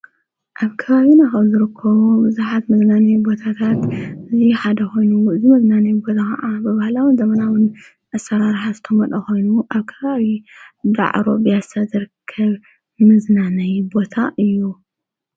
ኣብ ከባዊ ናኸዙርኮ ዙኃት ምዝናነይ ቦታታት እዙ ሓደኾይኑ ዝመዝናነይ ቦታ ኸዓ ብብህላውን ዘመናዉን ኣሠራርሓስተ መልኾይኑ ኣብ ከባዊ ደዕሮ ብያሣዘርከብ ምዝናነይ ቦታ እዩ።